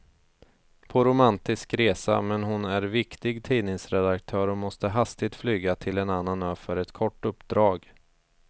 På romantisk resa, men hon är viktig tidningsredaktör och måste hastigt flyga till en annan ö för ett kort uppdrag.